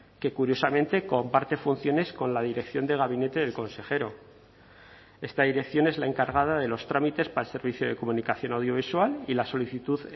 que curiosamente comparte funciones con la dirección de gabinete del consejero esta dirección es la encargada de los trámites para el servicio de comunicación audiovisual y la solicitud